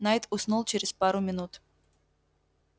найд уснул через пару минут